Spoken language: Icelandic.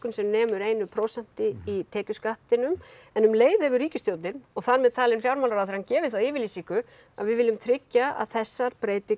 sem nemur einu prósenti í tekjuskattinum en um leið hefur ríkisstjórnin og þar með talinn fjármálaráðherrann gefið þá yfirlýsingu að við viljum tryggja að þessar breytingar